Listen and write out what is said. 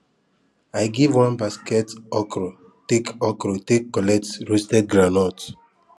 i give one basket okro take okro take collect roasted groundnut